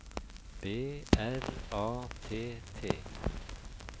B R A T T